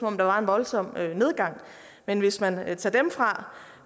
om der var en voldsom nedgang men hvis man tager dem fra